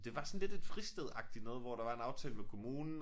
Det var sådan lidt et fristed agtigt noget hvor der var en aftale med kommunen